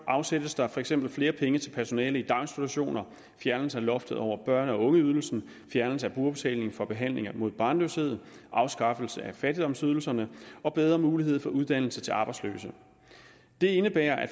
afsættes der for eksempel flere penge til personale i daginstitutioner fjernelse af loftet over børne og ungeydelsen fjernelse af brugerbetaling for behandling mod barnløshed afskafffelse af fattigdomsydelserne og bedre mulighed for uddannelse til arbejdsløse det indebærer at